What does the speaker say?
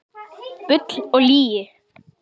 Bull og lygi